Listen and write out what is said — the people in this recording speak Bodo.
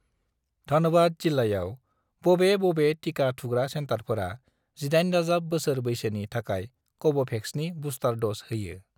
धनबाद जिल्लायाव, बबे बबे टिका थुग्रा सेन्टारफोरा 18+ बोसोर बैसोनि थाखाय कव'भेक्सनि बुस्टार द'ज होयो।